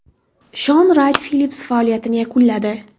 Shon Rayt-Fillips faoliyatini yakunladi.